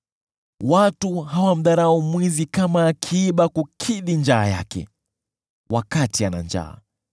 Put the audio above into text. Watu hawamdharau mwizi kama akiiba kukidhi njaa yake wakati ana njaa.